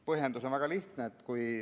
Põhjendus on väga lihtne.